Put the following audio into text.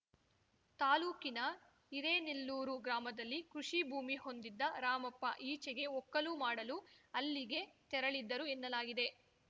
ತಾಲೂಕಿನ ಹಿರೇನೆಲ್ಲೂರು ಗ್ರಾಮದಲ್ಲಿ ಕೃಷಿಭೂಮಿ ಹೊಂದಿದ್ದ ರಾಮಪ್ಪ ಈಚೆಗೆ ಒಕ್ಕಲು ಮಾಡಲು ಅಲ್ಲಿಗೆ ತೆರಳಿದ್ದರು ಎನ್ನಲಾಗಿದೆ